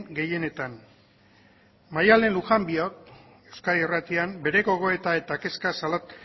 gehienetan maialen lujanbiok euskadi irratian bere gogoeta eta kezka